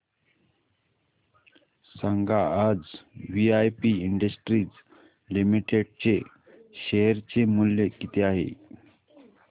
सांगा आज VIP industries limited चे शेअर चे मूल्य किती आहे